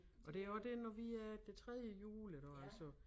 Og det også det når vi er det tredje hjul iggå altså